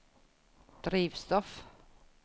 drivstoff